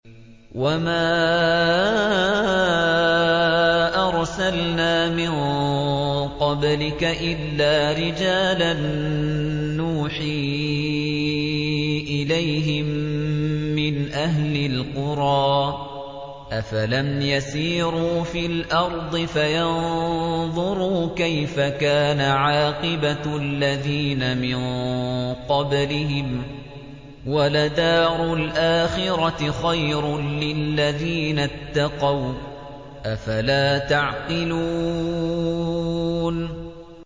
وَمَا أَرْسَلْنَا مِن قَبْلِكَ إِلَّا رِجَالًا نُّوحِي إِلَيْهِم مِّنْ أَهْلِ الْقُرَىٰ ۗ أَفَلَمْ يَسِيرُوا فِي الْأَرْضِ فَيَنظُرُوا كَيْفَ كَانَ عَاقِبَةُ الَّذِينَ مِن قَبْلِهِمْ ۗ وَلَدَارُ الْآخِرَةِ خَيْرٌ لِّلَّذِينَ اتَّقَوْا ۗ أَفَلَا تَعْقِلُونَ